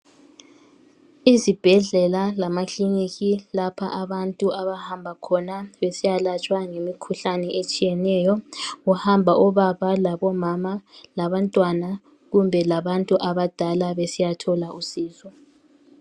Isibhedlela lamakiliniki lapho abantu abahamba khona besiyalatshwa ngemikhuhlane etshiyeneyo. Kuhamba obaba labomama labantwana kumbe labantu abadala besiyathola usizo.